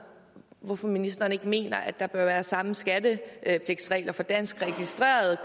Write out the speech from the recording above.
hvorfor ministeren ikke mener at der bør være samme skattepligtsregler for dansk registrerede